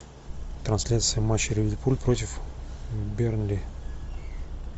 трансляция матча ливерпуль против бернли